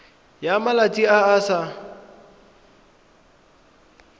ya malwetse a a sa